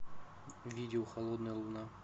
видео холодная луна